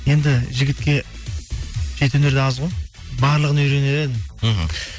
енді жігітке жеті өнер де аз ғой барлығын үйренер едім мхм